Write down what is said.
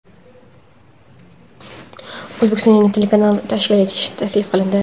O‘zbekistonda yangi telekanal tashkil etish taklif qilindi.